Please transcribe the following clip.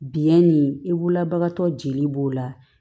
Biyɛn ni i wulabagatɔ jeli b'o la